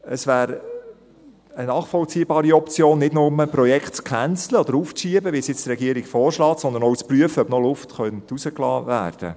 Es wäre eine nachvollziehbare Option, Projekte nicht nur zu canceln oder aufzuschieben, wie es die Regierung nun vorschlägt, sondern auch zu prüfen, ob noch Luft herausgelassen werden könnte.